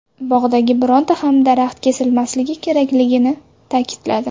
Bog‘dagi bironta ham daraxt kesilmasligi kerakligini ta’kidladi.